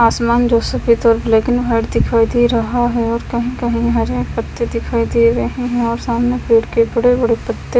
आसमान जो सफ़ेद ब्लैक एंड वाइट दिखाई दे रहा है और कही कही हरे पत्ते दिखाई दे रहा है और सामने पेड़ के बड़े बड़े पत्ते--